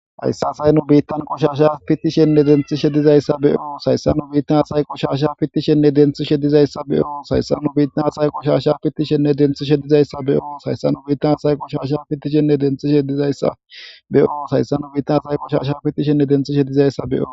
Hayssa say nu biittan qushasha pittishenne denthi shedizayssa beyo sayssa nu biittan say qushasha fittishenne denthi shedizayssa beyo sayssa nu biitna say qushasha pittishenne denthi shedizayssa beyo sayssa nu biittan say qushasha pittishenne denthi shedizayssa beyo sayssa nu biittan say qushasha pittishenne denthi shedizayssa be7o